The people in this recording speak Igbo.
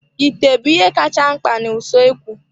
Ite bụ ihe kacha mkpa na usoekwu.